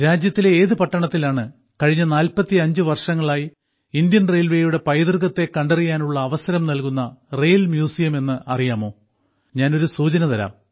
രാജ്യത്തിലെ ഏതു പട്ടണത്തിലാണ് കഴിഞ്ഞ 45 വർഷങ്ങളായി ഇന്ത്യൻ റെയിൽവേയുടെ പൈതൃകത്തെ കണ്ടറിയുവാനുള്ള അവസരം നൽകുന്ന റെയിൽ മ്യൂസിയം എന്ന് അറിയാമോ ഞാൻ ഒരു സൂചന തരാം